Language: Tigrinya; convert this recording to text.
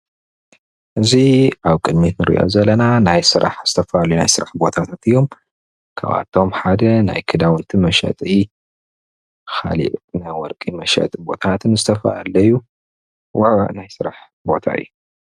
እዚ ኣብ ቅድሚት እንሪኦ ዘለና ናይ ስራሕ ናይ ሰብ ቦታ ዝተፈላለየ ቦታታት እዮም ካብኣቶም ሓደ ናይ ክዳውንቲ መሸጢ ካሊእ ናይ ወርቂ መሸጢ ቦታታትን ካልኦትን ዝተፈላለዩ ውዕውዕ ናይ ስራሕ ቦታ እዩ፡፡